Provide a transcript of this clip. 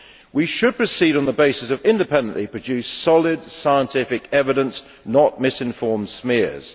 We should proceed on the basis of independently produced, solid, scientific evidence, not misinformed smears.